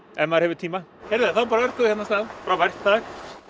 ef maður hefur tíma heyrðu þá bara örkum við hérna af stað frábært það